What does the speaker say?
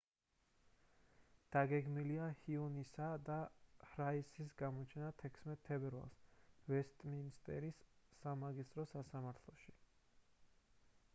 დაგეგმილია ჰიუნისა და პრაისის გამოჩენა 16 თებერვალს ვესტმინსტერის სამაგისტრო სასამართლოში